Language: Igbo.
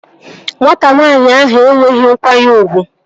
Nwata nwanyị ahụ enweghị nkwanye ugwu